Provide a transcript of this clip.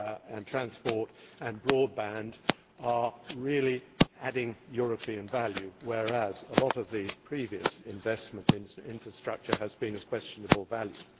and transport and broadband are really adding European value, whereas a lot of the previous investment in infrastructure has been of questionable value.